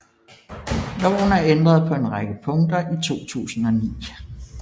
Loven er ændret på en række punkter i 2009